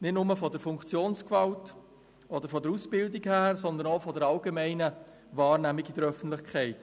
Dies nicht nur wegen der Funktionsgewalt oder der Ausbildung, sondern auch aufgrund der allgemeinen Wahrnehmung in der Öffentlichkeit.